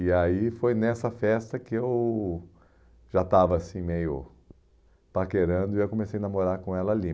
E aí foi nessa festa que eu já estava assim meio paquerando e comecei a namorar com ela ali.